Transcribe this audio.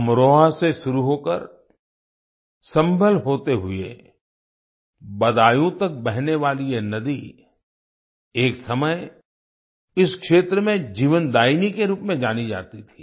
अमरोहा से शुरू होकर सम्भल होते हुए बदायूं तक बहने वाली ये नदी एक समय इस क्षेत्र में जीवनदायिनी के रूप में जानी जाती थी